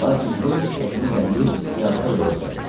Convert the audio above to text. Lakin Şults həkimi itələyib piyada yola düzəldi.